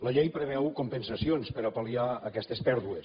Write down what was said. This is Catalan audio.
la llei preveu compensacions per a pal·liar aquestes pèrdues